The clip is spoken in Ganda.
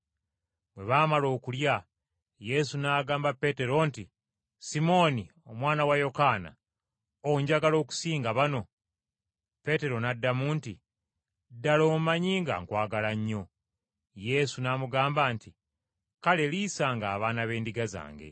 Bwe baamala okulya, Yesu n’agamba Peetero nti, “Simooni omwana wa Yokaana, onjagala okusinga bano?” Peetero n’addamu nti, “Ddala, omanyi nga nkwagala nnyo.” Yesu n’amugamba nti, “Kale liisanga abaana b’endiga zange.”